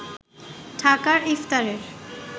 ঢাকার ইফতারের